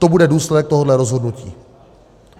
To bude důsledek tohoto rozhodnutí.